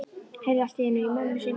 Heyrði allt í einu í mömmu sinni.